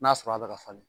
N'a sɔrɔ a bɛ ka falen